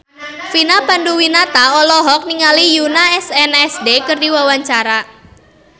Vina Panduwinata olohok ningali Yoona SNSD keur diwawancara